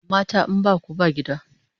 Mata in baku ba gida!